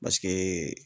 Paseke